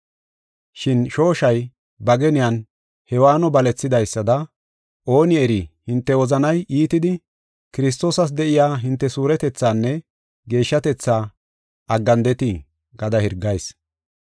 Shin shooshay ba geniyan Hewaanno balethidaysada ooni eri hinte wozanay iitidi Kiristoosas de7iya hinte suuretethaanne geeshshatetha aggandeti gada hirgayis.